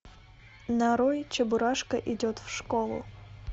нарой чебурашка идет в школу